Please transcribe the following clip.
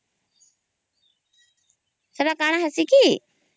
ସେତ କାନା ହେଇଚି କି